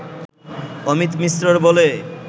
অমিত মিশ্রর বলে